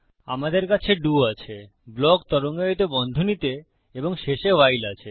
আমাদের কাছে ডো আছে ব্লক তরঙ্গায়িত বন্ধনীতে এবং শেষে ভাইল আছে